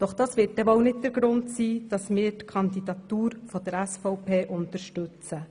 Doch das wird ja wohl nicht der Grund sein, weshalb wir die Kandidatur der SVP unterstützen.